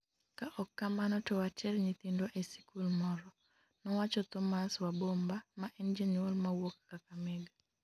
ka ok kamano to water nyithindwa e sikul moro,'nowacho Thomas Wabomba ma en janyuol mawuok Kakamega